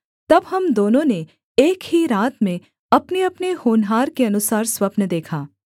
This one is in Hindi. तब हम दोनों ने एक ही रात में अपनेअपने होनहार के अनुसार स्वप्न देखा